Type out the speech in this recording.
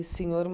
E senhor